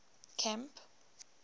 camp